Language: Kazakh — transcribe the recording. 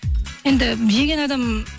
енді жеген адам